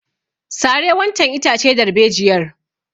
Sare wancan itace darbejiyar!